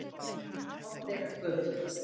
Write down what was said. Oddeyrargötu